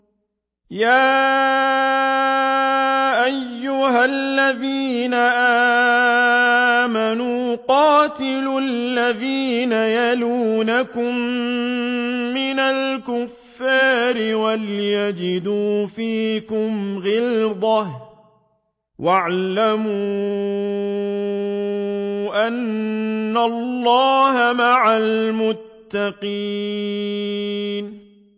يَا أَيُّهَا الَّذِينَ آمَنُوا قَاتِلُوا الَّذِينَ يَلُونَكُم مِّنَ الْكُفَّارِ وَلْيَجِدُوا فِيكُمْ غِلْظَةً ۚ وَاعْلَمُوا أَنَّ اللَّهَ مَعَ الْمُتَّقِينَ